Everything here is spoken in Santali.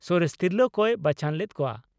ᱥᱚᱨᱮᱥ ᱛᱤᱨᱞᱟᱹ ᱠᱚᱭ ᱵᱟᱪᱷᱚᱱ ᱞᱮᱫ ᱠᱚᱣᱟ ᱾